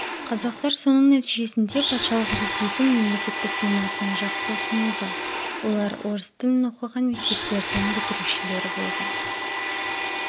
қазақтар соның нәтижесінде патшалық ресейдің мемлекеттік думасына жақсы ұсынылды олар орыс тілін оқыған мектептердің бітірушілері болды